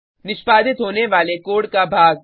निष्पादित होने वाले कोड का भाग